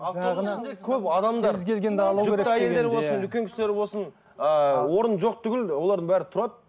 үлкен кісілер болсын ыыы орын жоқ түгілі олардың бәрі тұрады